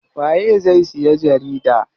Waye zai siya jarida?